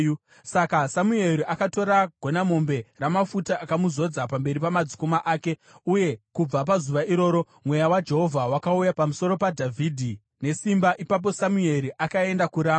Saka Samueri akatora gonamombe ramafuta akamuzodza pamberi pamadzikoma ake, uye kubva pazuva iroro Mweya waJehovha wakauya pamusoro paDhavhidhi nesimba. Ipapo Samueri akaenda kuRama.